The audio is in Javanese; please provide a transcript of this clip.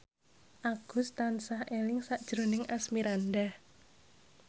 Agus tansah eling sakjroning Asmirandah